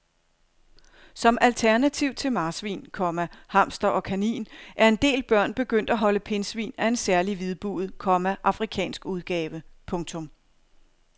Som alternativ til marsvin, komma hamster og kanin er en del børn begyndt at holde pindsvin af en særlig hvidbuget, komma afrikansk udgave. punktum